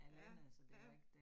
Ja, ja